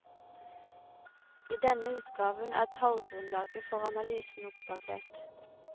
I denne utgaven er tallgrunnlaget for analysen oppdatert.